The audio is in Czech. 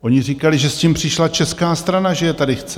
Oni říkali, že s tím přišla česká strana, že je tady chce.